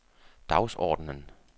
dagsordenen